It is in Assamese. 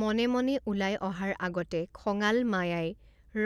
মনে মনে ওলাই অহাৰ আগতে খঙাল মায়াই